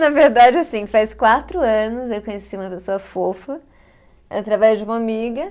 Na verdade, assim, faz quatro anos eu conheci uma pessoa fofa através de uma amiga.